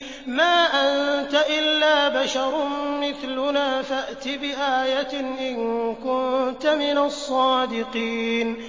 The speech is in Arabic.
مَا أَنتَ إِلَّا بَشَرٌ مِّثْلُنَا فَأْتِ بِآيَةٍ إِن كُنتَ مِنَ الصَّادِقِينَ